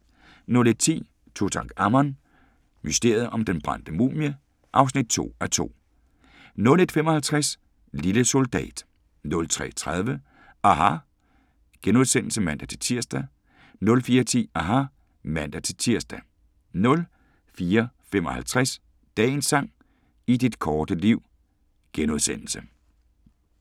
01:10: Tutankhamon: Mysteriet om den brændte mumie (2:2) 01:55: Lille Soldat 03:30: aHA! *(man-tir) 04:10: aHA! (man-tir) 04:55: Dagens sang: I dit korte liv *